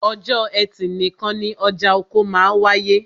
Ọjọ́ ẹtì nìkan ni ọjà oko máa wááyé